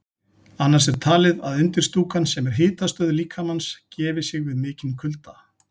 Annars vegar er talið að undirstúkan, sem er hitastöð líkamans, gefi sig við mikinn kulda.